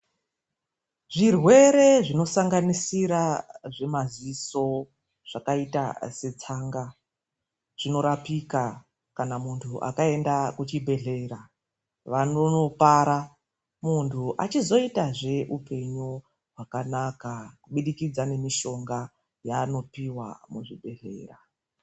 Zvirwerwe zvinosanganisira zvemaziso, zvakaita setsanga zvinorapika kana muntu akaenda kuchibhedhlera. Vanopara muntu achizoitazve upenyu hwakanaka kubudikidza nemishonga yaanopuwa muzvibhedhlera.